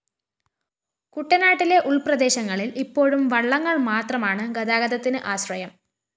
കുട്ടനാട്ടിലെ ഉള്‍പ്രദേശങ്ങളില്‍ ഇപ്പോഴും വള്ളങ്ങള്‍ മാത്രമാണ് ഗതാഗതത്തിന് ആശ്രയം